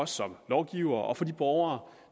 som lovgivere og for de borgere